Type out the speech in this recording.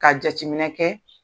Ka jateminɛ kɛ